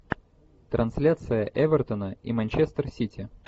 трансляция эвертона и манчестер сити